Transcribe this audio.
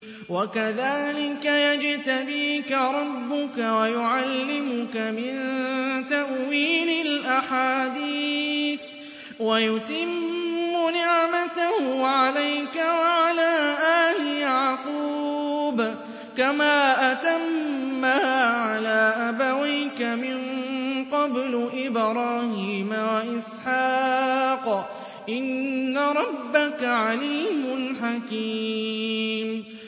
وَكَذَٰلِكَ يَجْتَبِيكَ رَبُّكَ وَيُعَلِّمُكَ مِن تَأْوِيلِ الْأَحَادِيثِ وَيُتِمُّ نِعْمَتَهُ عَلَيْكَ وَعَلَىٰ آلِ يَعْقُوبَ كَمَا أَتَمَّهَا عَلَىٰ أَبَوَيْكَ مِن قَبْلُ إِبْرَاهِيمَ وَإِسْحَاقَ ۚ إِنَّ رَبَّكَ عَلِيمٌ حَكِيمٌ